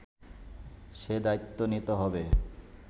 সে দায়িত্ব নিতে হবে